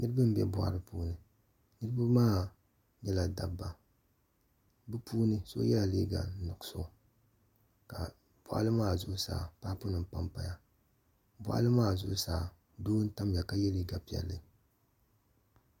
Niraba n bɛ boɣali puuni niraba maa nyɛla dabba bi puuni so yɛla liiga nuɣso ka boɣali maa zuɣusaa paapu nim panpaya boɣali maa zuɣusaa doo n tamya ka yɛ liiga piɛlli